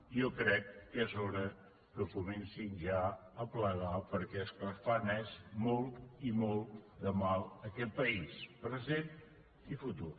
jo crec que és hora que comencin ja a plegar perquè el que fan és molt i molt de mal a aquest país present i futur